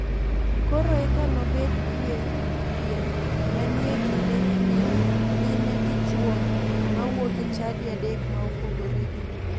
Koro eka nobedie piem manie kind e mine gi chuo ma wuok e chadi adek ma opogoregi.